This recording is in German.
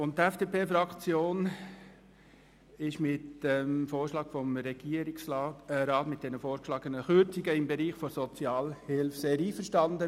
Die FDP-Fraktion ist mit den vorgeschlagenen Kürzungen im Bereich der Sozialhilfe sehr einverstanden.